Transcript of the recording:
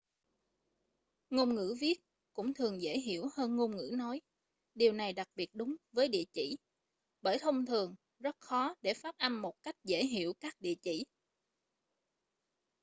ngôn ngữ viết cũng thường dễ hiểu hơn ngôn ngữ nói điều này đặc biệt đúng với địa chỉ bởi thông thường rất khó để phát âm một cách dễ hiểu các địa chỉ